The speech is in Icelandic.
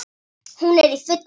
Hún er í fullu fjöri.